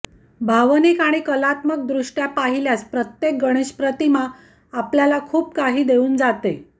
भावनिक आणि कलात्मकदृष्ट्या पाहिल्यास प्रत्येक गणेश प्रतिमा आपल्याला खूप काही देऊन जाते